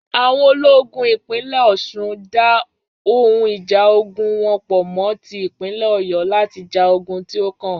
Àwọn ológun ìpínlè Ọ̀sun dá ohun ìjà ogún wọn po mo tí ìpínlè Ọ̀yo láti ja ogún tí o kàn